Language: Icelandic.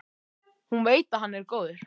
Hún veit að hann er góður.